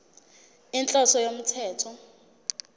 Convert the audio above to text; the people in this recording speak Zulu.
inhloso yalo mthetho